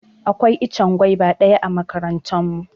Akwai ichen gwaiva daya a makarantan mu.